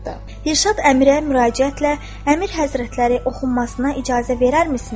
Dilşad Əmirə müraciətlə: "Əmir Həzrətləri, oxunmasına icazə verərmisiniz?"